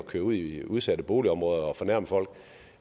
køre ud i udsatte boligområder for at fornærme folk